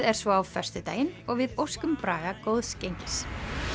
er svo á föstudaginn og við óskum Braga góðs gengis